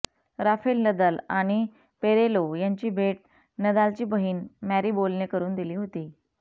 Rafale Nadal आणि Perello यांची भेट नदालची बहिण मॅरिबोलने करून दिली होती